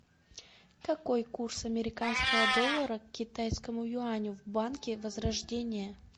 какой курс американского доллара к китайскому юаню в банке возрождение